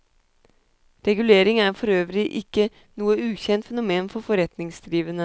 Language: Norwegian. Regulering er for øvrig ikke noe ukjent fenomen for forretningsdrivende.